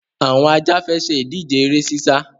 Àwọn Ajá fẹ́ ṣe ìdíje eré sísá.